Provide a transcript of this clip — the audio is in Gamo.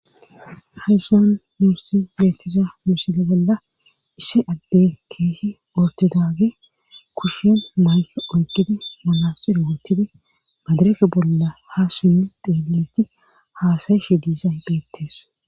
haysan yuossi beettiza misile bella issi adde keehi ortidage kushin mayke oyqidi malasirowottidi madirefe bolla ha simmi deeliti haasayishe diiza beettees